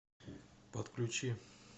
подключи